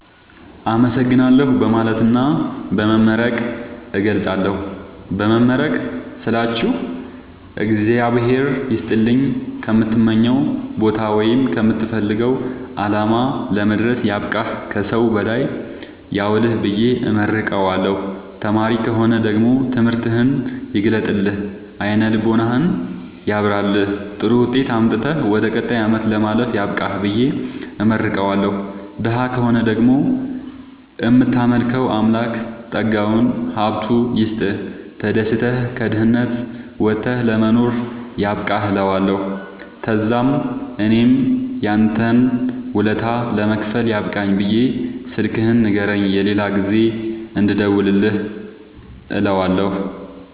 አመሠግናለሁ በማለትና በመመረቅ እገልፃለሁ። በመመረቅ ስላችሁ እግዚአብሄር ይስጥልኝ ከምትመኘዉ ቦታወይም ከምትፈልገዉ አላማ ለመድረስያብቃህ ከሠዉ በላይ ያዉልህብየ እመርቀዋለሁ። ተማሪ ከሆነ ደግሞ ትምህርትህን ይግለጥልህ አይነ ልቦናህን ያብራልህ ጥሩዉጤት አምጥተህ ወደ ቀጣይ አመት ለማለፍ ያብቃህ ብየ እመርቀዋለሁ። ደሀ ከሆነ ደግሞ እምታመልከዉ አምላክ ጠጋዉን ሀብቱይስጥህ ተደስተህ ከድህነት ወተህ ለመኖር ያብቃህእለዋለሁ። ተዛምእኔም ያንተን ወለታ ለመክፈል ያብቃኝ ብየ ስልክህን ንገረኝ የሌላ ጊዜ እንድደዉልልህ እለዋለሁ